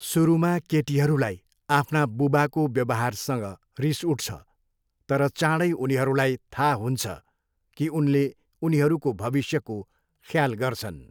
सुरुमा केटीहरूलाई आफ्ना बुबाको व्यावहारसँग रिस उठ्छ तर चाँडै उनीहरूलाई थाहा हुन्छ कि उनले उनीहरूको भविष्यको ख्याल गर्छन्।